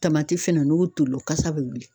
Tamati fɛnɛ n'o toli la o kasa be wuli